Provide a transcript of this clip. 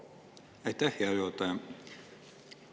Aitäh, hea juhataja!